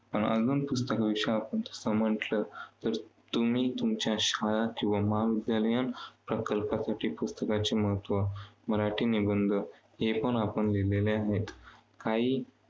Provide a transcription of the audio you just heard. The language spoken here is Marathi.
अजून पुस्तकांविषयी आपण समजलं तर तुम्ही शाळा किंवा महाविद्यालयात प्रकल्पासाठी पुस्तकाचे महत्त्व, मराठी निबंध हेपण आपण लिहिलेले आहेत काही